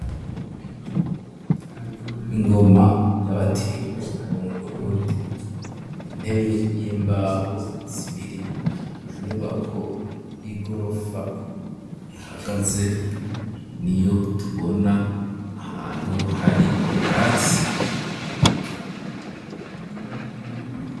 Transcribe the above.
Ingoma ,y'abatimbo, bo mu burundi ,intebe y'imbaho zibiri, inyubako y'igorofa ihagaze, niyo tubona ahantu hari ubwatsi.